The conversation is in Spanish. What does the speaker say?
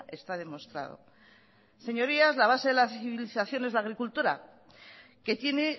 está demostrado señorías la base de la civilización es la agricultura que tiene